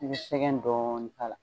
i bi sɛgɛn dɔɔni k'a la